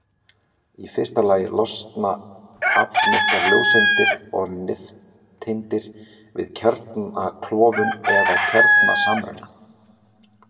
í fyrsta lagi losna aflmiklar ljóseindir og nifteindir við kjarnaklofnun eða kjarnasamruna